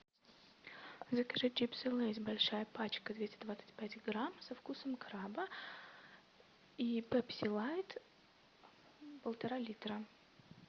закажи чипсы лейс большая пачка двести двадцать пять грамм со вкусом краба и пепси лайт полтора литра